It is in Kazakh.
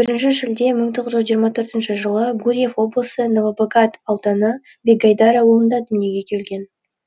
бірінші шілде мың тоғыз жүз жиырма төртінші жылы гурьев облысы новобогат ауданы бегайдар ауылында дүниеге келген